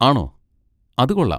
ആണോ, അത് കൊള്ളാം.